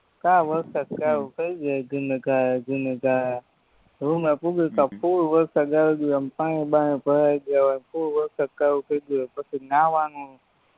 તા વરસાદ ચાલુ થય જાય ધીમીધારે ધીમીધારે રૂમે પુગ્યેતા ફૂલ વરસાદ આવી ગયો હોય આમ પાણી બાણી ભરાય ગયા હોય ને આમ ફૂલ વરસાદ ચાલુ થય ગયો હોય પછી નવાનું